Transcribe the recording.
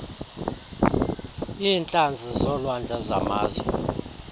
iintlanzi zolwandle zamazwe